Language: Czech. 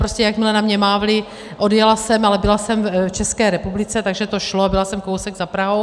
Prostě jakmile na mě mávli, odjela jsem, ale byla jsem v České republice, takže to šlo, byla jsem kousek za Prahou.